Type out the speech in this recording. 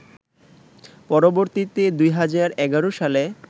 পরবর্তীতে ২০১১ সালে